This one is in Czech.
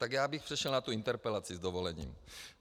Tak já bych přešel na tu interpelaci s dovolením.